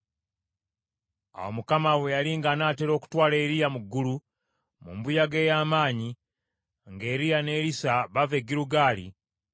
Awo Mukama bwe yali ng’anaatera okutwala Eriya mu ggulu mu mbuyaga ey’amaanyi, nga Eriya ne Erisa bava e Girugaali,